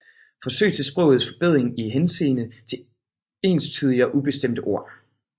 Forsøg til Sprogets Forbedring i Henseende til enstydige og ubestemte Ord